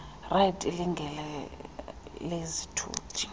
ride ilinge lezithuthi